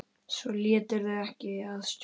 Svo létirðu ekki að stjórn.